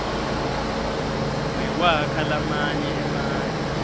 nekwakha lamanye emandla